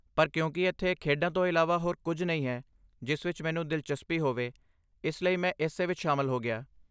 ਪਰ ਕਿਉਂਕਿ ਇੱਥੇ ਖੇਡਾਂ ਤੋਂ ਇਲਾਵਾ ਹੋਰ ਕੁਝ ਨਹੀਂ ਹੈ ਜਿਸ ਵਿੱਚ ਮੈਨੂੰ ਦਿਲਚਸਪੀ ਹੋਵੇ, ਇਸ ਲਈ ਮੈਂ ਇਸੇ ਵਿੱਚ ਸ਼ਾਮਲ ਹੋ ਗਿਆ।